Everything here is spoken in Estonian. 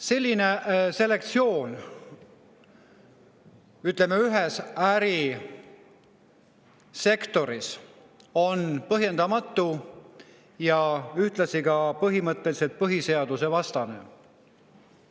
Selline selektsioon, ütleme, ühes ärisektoris on põhjendamatu ja põhimõtteliselt põhiseadusvastane.